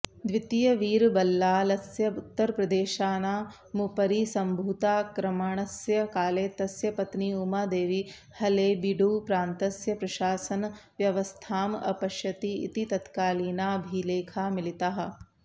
द्वितीयवीरबल्लालस्य उत्तरप्रदेशानामुपरि सम्भूताक्रमणस्य काले तस्य पत्नी उमादेवी हळेबीडुप्रान्तस्य प्रशासनव्यवस्थाम् अपश्यति इति तत्कालीनाभिलेखाः मिलिताः